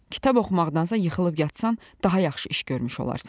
Kitab oxumaqdansa yıxılıb yatsan, daha yaxşı iş görmüş olarsan.